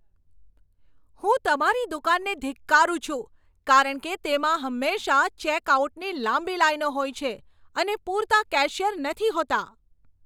હું તમારી દુકાનને ધિક્કારું છું કારણ કે તેમાં હંમેશા ચેકઆઉટની લાંબી લાઈનો હોય છે અને પૂરતા કેશિયર નથી હોતા.